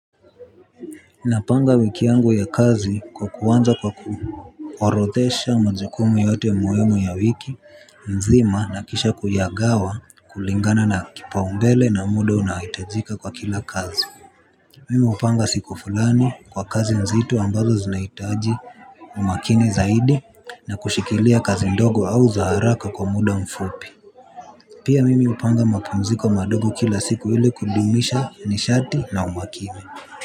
Napanga wiki yangu ya kazi kuanza kwa kuorodhesha majukumu yote muhimu ya wiki mzima na kisha kuyagawa kulingana na kipaombele na muda unaohitajika kwa kila kazi. Mimi hupanga siku fulani kwa kazi nzito ambazo zinahitaji umakini zaidi na kushikilia kazi ndogo au za haraka kwa muda mfupi. Pia mimi hupanga mapumziko madogo kila siku ili kudumisha nishati na umakini. Kwa hivyo.